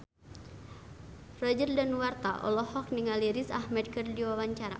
Roger Danuarta olohok ningali Riz Ahmed keur diwawancara